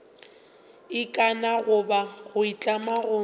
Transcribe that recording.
ikana goba go itlama go